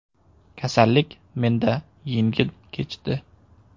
Kasallik menda yengil kechdi.